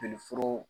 Joli foro